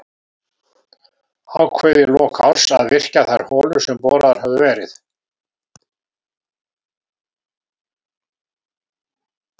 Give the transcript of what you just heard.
Ákveðið í lok árs að virkja þær holur sem boraðar höfðu verið á